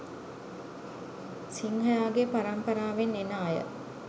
සිංහයාගේ පරම්පරාවෙන් එන අය